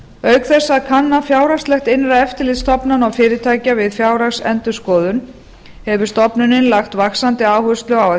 auk þess að kanna fjárhagslegt innra eftirlit stofnana og fyrirtækja við fjárhagsendurskoðun hefur stofnunin lagt fram vaxandi áherslu á að